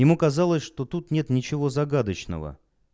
ему казалось что тут нет ничего загадочного